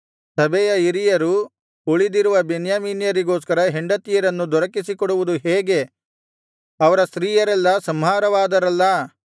ಸಭೆಯ ಹಿರಿಯರು ಉಳಿದಿರುವ ಬೆನ್ಯಾಮೀನ್ಯರಿಗೋಸ್ಕರ ಹೆಂಡತಿಯರನ್ನು ದೊರಕಿಸಿ ಕೊಡುವುದು ಹೇಗೆ ಅವರ ಸ್ತ್ರೀಯರೆಲ್ಲಾ ಸಂಹಾರವಾದರಲ್ಲಾ